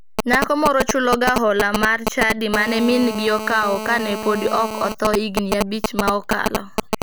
Nyako moro chuloga hola mar chadi mane mingi okawo kane podi ok otho higini abich ma okalo.